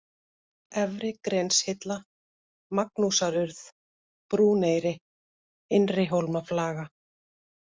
Efri-Grenshilla, Magnúsarurð, Brúneyri, Innrihólmaflaga